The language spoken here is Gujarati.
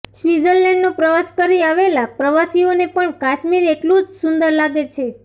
સ્વિત્ઝરલેન્ડનો પ્રવાસ કરી આવેલા પ્રવસીઓને પણ કાશ્મીર એટલું જ સુંદર લાગે છે